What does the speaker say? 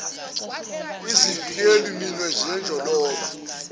izivikeli minwe zenjoloba